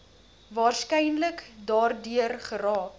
waarskynlik daardeur geraak